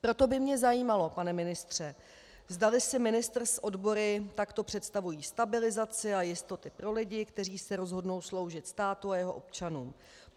Proto by mě zajímalo, pane ministře, zdali si ministr s odbory takto představují stabilizaci a jistoty pro lidi, kteří se rozhodnou sloužit státu a jeho občanům.